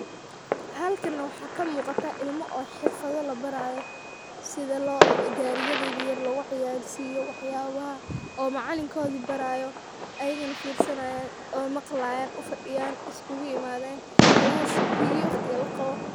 Halkan waxaa kamuuqata ilmo xirfadha yaryar labaraayo sidha gari yadha yaryar loguciyarsiyo waxyaabaha oo macalin koodi barayo ayagana fiirsanayaan oo maqlayaan, ufadiyaan iskuguimaadhen class P.E waqtiga laqabo.